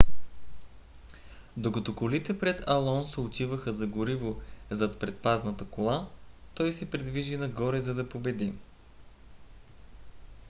докато колите пред алонсо отиваха за гориво зад предпазната кола той се придвижи нагоре за да победи